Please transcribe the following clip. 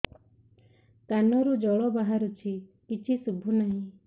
କାନରୁ ଜଳ ବାହାରୁଛି କିଛି ଶୁଭୁ ନାହିଁ